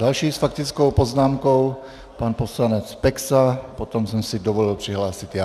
Další s faktickou poznámkou pan poslanec Peksa, potom jsem si dovolil přihlásit já.